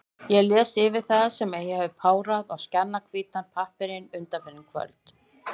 Ég les yfir það, sem ég hef párað á skjannahvítan pappírinn undanfarin kvöld.